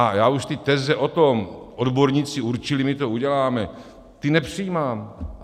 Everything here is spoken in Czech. A já už ty teze o tom "odborníci určili, my to uděláme", ty nepřijímám.